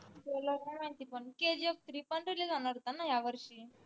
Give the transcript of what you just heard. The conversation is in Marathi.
trailer नाही माहिती पन KGFthree जानार होता न या वर्षी